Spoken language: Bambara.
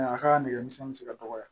a ka nɛgɛmisɛnni mi se ka dɔgɔya